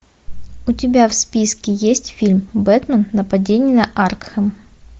у тебя в списке есть фильм бэтмен нападение на аркхем